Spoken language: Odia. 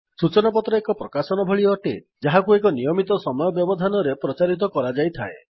ସୁଚନାପତ୍ର ଏକ ପ୍ରକାଶନ ଭଳି ଅଟେ ଯାହାକୁ ଏକ ନିୟମିତ ସମୟ ବ୍ୟବଧାନରେ ପ୍ରଚାରିତ କରାଯାଇଥାଏ